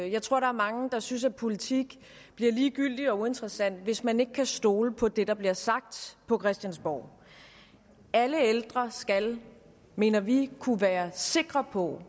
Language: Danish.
jeg tror der er mange der synes at politik bliver ligegyldig og uinteressant hvis ikke man kan stole på det der bliver sagt på christiansborg alle ældre skal mener vi kunne være sikre på